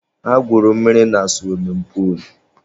Ha gwuru mmiri na suwimin puulu.